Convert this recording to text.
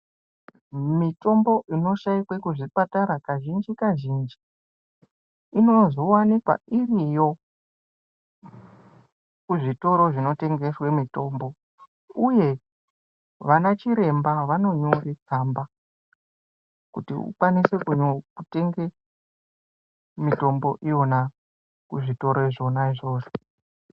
Mitombo inoshaikwe muzvipatara kazhinji-kazhinji ,inozowanikwa iriyo, kuzvitoro zvinotengehwee mitombo ,uye vana chiremba vanonyore tsamba, kuti ukwanise kunyo kutenge mitombo iyona kuzvitoro zvona izvozvo.